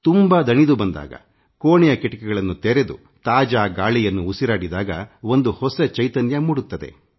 ತುಂಬಾ ದಣಿದು ಬಂದಾಗ ಕೋಣೆಯ ಕಿಟಕಿಗಳನ್ನು ತೆರೆದು ತಾಜಾ ಗಾಳಿಯ ಉಸಿರಾಡಿದಾಗ ನವ ಚೈತನ್ಯ ಮೂಡುತ್ತದೆ